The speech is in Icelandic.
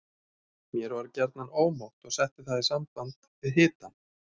Mér var gjarnan ómótt og setti það í samband við hitann.